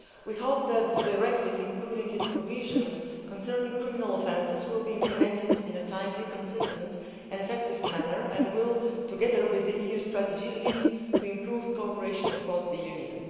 We hope that the directive, including its provisions concerning criminal offences, will be implemented in a timely, consistent and effective manner and will, together with the EU strategy, lead to improved cooperation cross the Union.